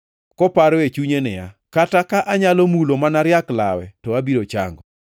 koparo e chunye niya, “Kata ka anyalo mulo mana riak lawe to abiro chango.”